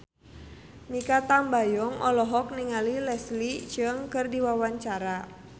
Mikha Tambayong olohok ningali Leslie Cheung keur diwawancara